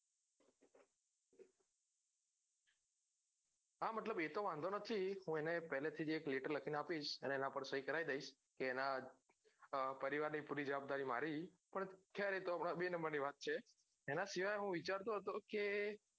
હા મતલબ એતો વાંધો નથી હું એને પેલેથી જ એક લેટર લખીં આપીશ એના પર સઈ કરાઈ દઈશ કે એના પરિવાર ની પુરી જવાબદારી મારી પણ ખેર એતો બે નંબર ની વાત છે એના સિવાય હું વિચારતો હતો કે